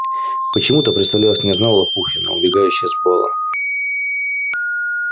почему-то представлялась княжна лопухина убегающая с бала